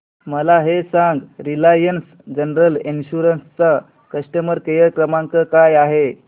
मला हे सांग रिलायन्स जनरल इन्शुरंस चा कस्टमर केअर क्रमांक काय आहे